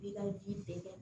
I ka ji bɛɛ kɛ